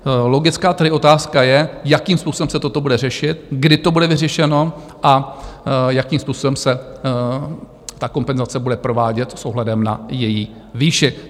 Logická tedy otázka je, jakým způsobem se toto bude řešit, kdy to bude vyřešeno a jakým způsobem se ta kompenzace bude provádět s ohledem na její výši?